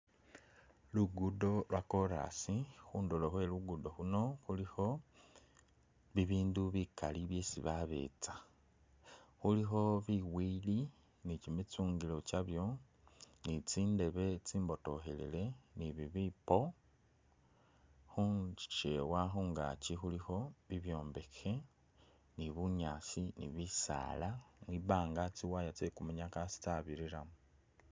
Luguudo lwa kolaasi khundulo khwe Luguudo khuno khulikho bibindu bikaali byesi babetsa. Khulikho bibwili ni kimitsungila kyabyo, ni tsindeebe tsimbotokhelele ni bibiipo. Khu syikeewa khungaki khulikho bibyombekhe ni bunyaasi ni bisaala, mwibaanga tsi wire tsye kumunyakaasi tsyabiriramo.